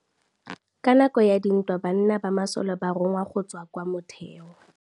Ka nakô ya dintwa banna ba masole ba rongwa go tswa kwa mothêô.